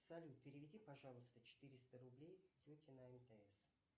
салют переведи пожалуйста четыреста рублей тете на мтс